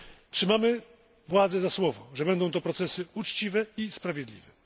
Trzymamy władze za słowo, że będą to procesy uczciwe i sprawiedliwe.